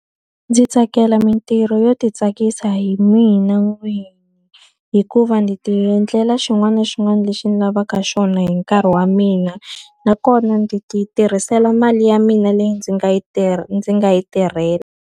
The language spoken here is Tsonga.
Ndzi tsakela mintirho yo ti tsakisa hi mina n'wini, hikuva ndzi ti endlela xin'wana na xin'wana lexi ndzi lavaka xona hi nkarhi wa mina. Nakona ndzi ti tirhisela mali ya mina leyi ndzi nga yi tirha ndzi nga yi tirhela.